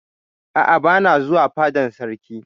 A'a, bana zuwa fadan sarki.